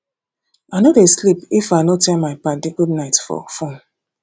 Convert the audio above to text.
i no dey sleep if i no tell my paddy goodnight for fone